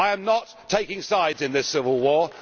I am not taking sides in this civil war.